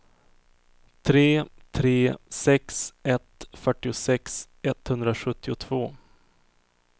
tre tre sex ett fyrtiosex etthundrasjuttiotvå